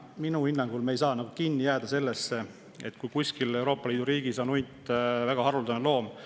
Minu hinnangul me ei saa kinni jääda sellesse, et kuskil Euroopa Liidu riigis on hunt väga haruldane loom.